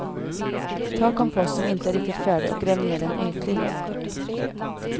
Ta kompost som inte är riktigt färdig och gräv ner den ytligt.